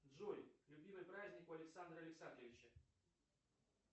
джой любимый праздник у александра александровича